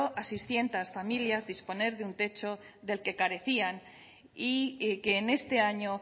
a seiscientos familias disponer de un techo del que carecían y que en este año